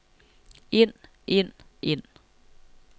ind ind ind